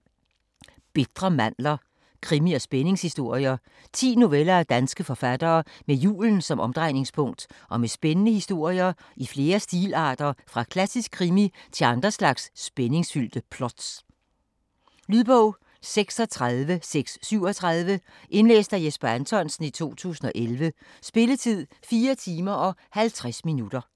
Bitre mandler: krimi- og spændingshistorier 10 noveller af danske forfattere med julen som omdrejningspunkt og med spændende historier i flere stilarter fra klassisk krimi til andre slags spændingsfyldte plots. Lydbog 36637 Indlæst af Jesper Anthonsen, 2011. Spilletid: 4 timer, 50 minutter.